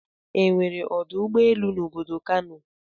E nwere ọdụ ụgbọ elu n'obodo Kano.